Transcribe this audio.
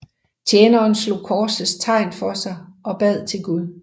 Tjeneren slog korsets tegn for sig og bad til Gud